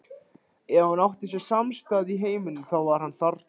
Ef hann átti sér samastað í heiminum, þá var hann þarna.